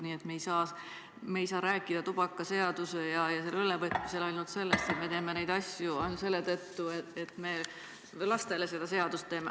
Nii et me ei saa rääkida tubakaseaduse muutmisel ja regulatsioonide ülevõtmisel ainult sellest, et me teeme neid asju selle tõttu, et me lastele seda seadust teeme.